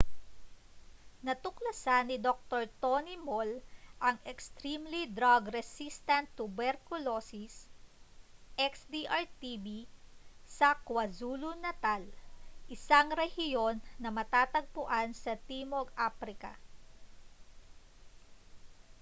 natuklasan ni dr. tony moll ang extremely drug resistant tuberculosis xdr-tb sa kwazulu-natal isang rehiyon na matatagpuan sa timog aprika